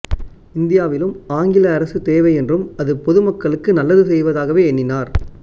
இந்தியாவிலும் ஆங்கில அரசு தேவை என்றும் அது பொதுமக்களுக்கு நல்லது செய்வதாகவே எண்ணினார்